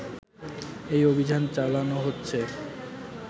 এই অভিযান চালানো হচ্ছে